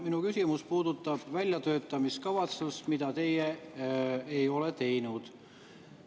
Minu küsimus puudutab väljatöötamiskavatsust, mida teie ei ole teinud.